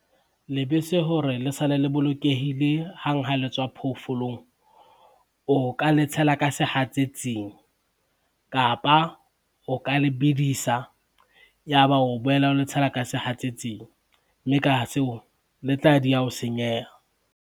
Lebese hore le sale le bolokehile hang ha le tswa phoofolong, o ka le tshela ka sehatsetsing kapa o ka le bedisa, ya ba o boela o le tshela ka sehatsetsing, mme ka seo le tla dieha ho senyeha.